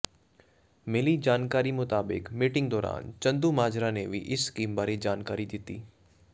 ਮਿਲੀ ਜਾਣਕਾਰੀ ਮੁਤਾਬਿਕ ਮੀਟਿੰਗ ਦੌਰਾਨ ਚੰਦੁ ਮਾਜਰਾ ਨੇ ਵੀ ਇਸ ਸਕੀਮ ਬਾਰੇ ਜਾਣਕਾਰੀ ਦਿਤੀ